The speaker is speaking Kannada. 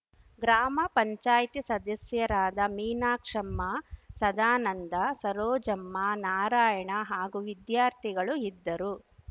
ಗ್ರಾಮ ಪಂಚಾಯತಿ ಸದಸ್ಯರಾದ ಮೀನಾಕ್ಷಮ್ಮ ಸದಾನಂದ ಸರೋಜಮ್ಮ ನಾರಾಯಣ ಹಾಗೂ ವಿದ್ಯಾರ್ಥಿಗಳು ಇದ್ದರು